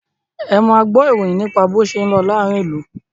Ẹ máa gbọ́ ìròyìn nípa bó ṣé ń lọ láàárín ìlú!